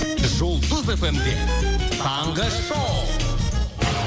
жұлдыз эф эм де таңғы шоу